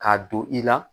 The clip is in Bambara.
K'a don i la